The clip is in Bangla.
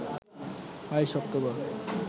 ২২ অক্টোবর